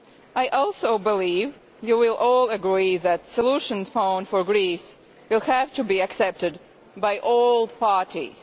I also believe you will all agree that a solution found for Greece will have to be accepted by all parties.